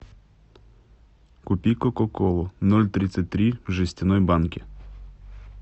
купи кока колу ноль тридцать три в жестяной банке